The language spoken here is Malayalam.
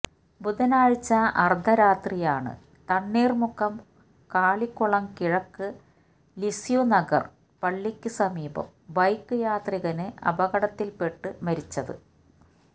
ബുധനാഴ്ച അര്ദ്ധ രാത്രിയാണ് തണ്ണീര്മുക്കം കാളികുളം കിഴക്ക് ലിസ്യുനഗര് പള്ളിക്ക് സമീപം ബൈക്ക് യാത്രികന് അപകടത്തില്പ്പെട്ട് മരിച്ചത്